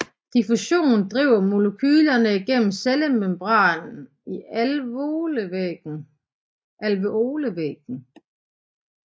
Diffusion driver molekylerne gennem cellemembranen i alveolevæggen